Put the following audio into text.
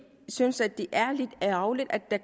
synes at det er lidt ærgerligt at der